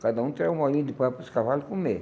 Cada um tirava um molhinho de pó para os cavalos comerem.